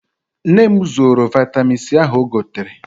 Nne m zoro vaịtamin C ahụ o gotere.